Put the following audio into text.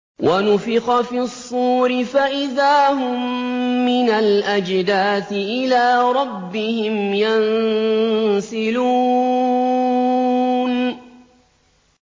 وَنُفِخَ فِي الصُّورِ فَإِذَا هُم مِّنَ الْأَجْدَاثِ إِلَىٰ رَبِّهِمْ يَنسِلُونَ